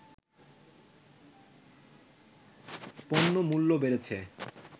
পণ্যমূল্য বেড়েছে